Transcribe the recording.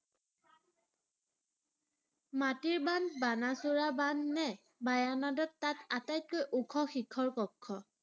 মাটিৰ বান্ধ, বাণাসুৰ বান্ধ নে মায়ানাদত তাত আটাইতকৈ ওখ শীৰ্ষ কক্ষ?